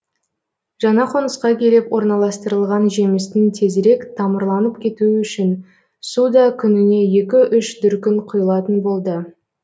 жаңа қонысқа келіп орналастырылған жемістің тезірек тамырланып кетуі үшін су да күніне екі үш дүркін құйылатын болды